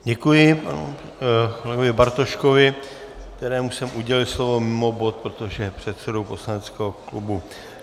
Děkuji panu kolegovi Bartoškovi, kterému jsem udělil slovo mimo bod, protože je předsedou poslaneckého klubu.